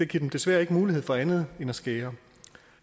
giver dem desværre ikke mulighed for andet end at skære